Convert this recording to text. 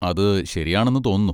അത് ശരിയാണെന്ന് തോന്നുന്നു.